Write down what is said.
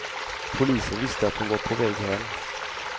Polisen visste att hon var på väg hem.